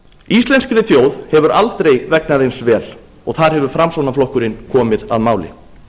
íslenskri þjóð hefur aldrei vegnað eins vel og þar hefur framsóknarflokkurinn komið að máli